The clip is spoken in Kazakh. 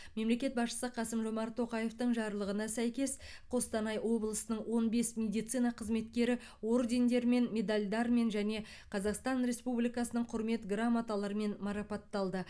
мемлекет басшысы қасым жомарт тоқаевтың жарлығына сәйкес қостанай облысының он бес медицина қызметкері ордендермен медальдармен және қазақстан республикасының құрмет грамоталарымен марапатталды